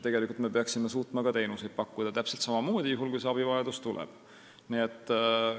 Tegelikult me peaksime suutma ka teenuseid pakkuda täpselt samamoodi, juhul kui see abivajadus tuleb.